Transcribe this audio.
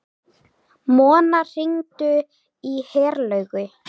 Mona, hringdu í Herlaugu.